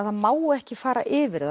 það má ekki fara yfir